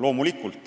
Loomulikult,